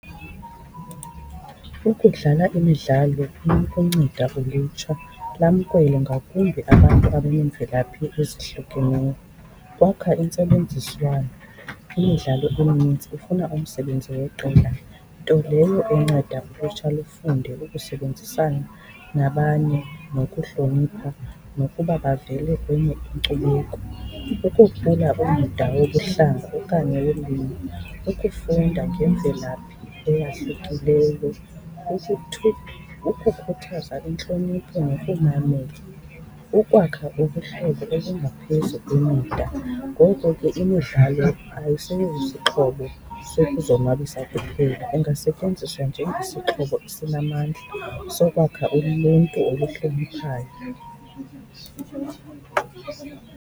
Ukudlala imidlalo kunokunceda ulutsha lamkele ngakumbi abantu abaneemvelaphi ezahlukeneyo. Kwakha intsebenziswano, imidlalo emininzi ifuna umsebenzi weqela, nto leyo enceda ulutsha lufunde ukusebenzisana nabanye, nokuhlonipha nokuba bavele kwenye inkcubeko. Ukuhlula umda wobuhlanga okanye wolwimi, ukufunda ngendlela eyahlukileyo, ukukhuthaza intlonipho nokumamela, ukwakha ubuhlobo obungaphezu kwemida. Ngoko ke imidlalo ayisosixhobo sokuzonwabisa kuphela, ingasetyenziswa njengesixhobo esinamandla sokwakha uluntu oluhloniphayo.